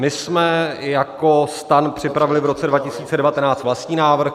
My jsme jako STAN připravili v roce 2019 vlastní návrh.